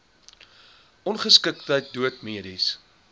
ongeskiktheid dood mediese